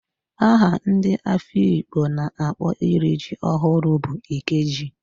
Aha ndị Afikpo na-akpọ iri ji ọhụrụ bụ Ikeji